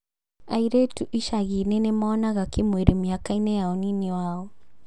Airĩtu icagi-inĩ nĩmonanaga kĩmwĩrĩ mĩaka-inĩ ya unini wao